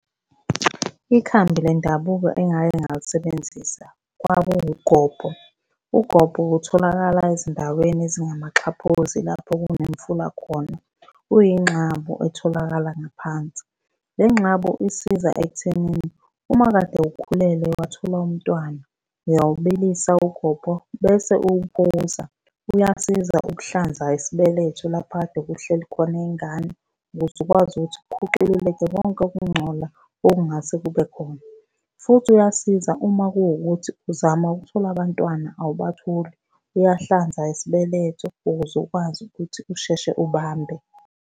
Ikhambi lendabuko engake ngalisebenzisa kwakuwuGobho. UGobho utholakala ezindaweni ezingamaxhaphozi lapho kunemfula khona. Uyinxabu etholakala ngaphansi. Le nxabu isiza ekuthenini uma kade ukhulelwe watholwa umntwana, uyawubilisa uGobho, bese uwuphuza. Uyasiza ukuhlanza isibeletho lapha ekade kuhleli khona ingane ukuze ukwazi ukuthi kukhucululeke konke ukungcola okungase kube khona, futhi uyasiza uma kuwukuthi uzama ukuthola abantwana awubatholi, uyahlanza isibeletho ukuze ukwazi ukuthi usheshe ubambe.